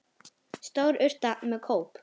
Stór urta með kóp.